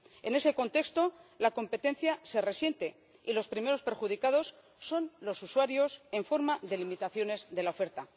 En ese contexto la competencia se resiente y los primeros perjudicados son los usuarios en forma de limitaciones de la oferta.